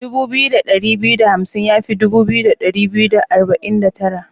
Dubu biyu da dari biyu da hamsin ya fi dubu biyu da dari biyu da arba'in da tara.